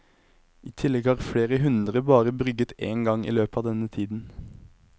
I tillegg har flere hundre bare brygget en gang i løpet av denne tiden.